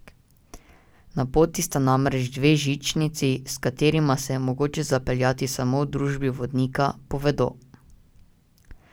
Na poti sta namreč dve žičnici, s katerima se je mogoče zapeljati samo v družbi vodnika, povedo.